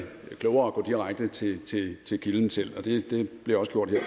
klogere at gå direkte til kilden selv og det blev også gjort her